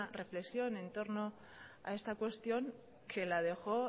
reflexión en torno a esta cuestión que la dejó